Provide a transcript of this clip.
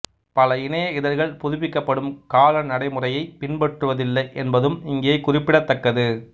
பல இணைய இதழ்கள் புதுப்பிக்கப்படும் கால நடைமுறையைப் பின்பற்றுவதில்லை என்பதும் இங்கே குறிப்பிடத்தக்கது